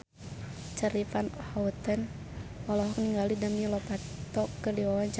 Charly Van Houten olohok ningali Demi Lovato keur diwawancara